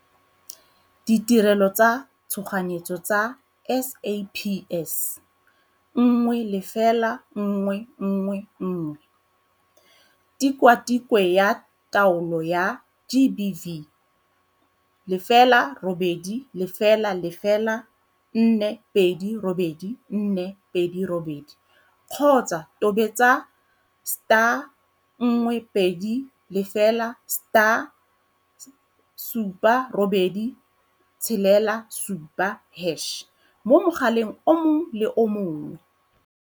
Ditirelo tsa Tshoganyetso tsa SAPS - 10111. Tikwatikwe ya Taolo ya GBV - 0800 428 428 kgotsa tobetsa star 120 star 7867 hash mo mogaleng o mongwe le o mongwe.